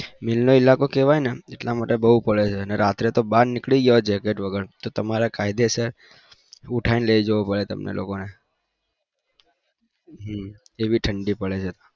નો ઇલાકો કેવાય ને એટલા માટે અને રાતે તો બાર નીકળી જય jacket વગર બાર નીકળી જાયતો કાયદે સર ઉઠાઈ ને લઇ જવો પડે